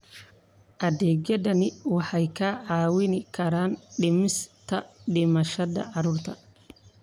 Adeegyadani waxay kaa caawin karaan dhimista dhimashada carruurta.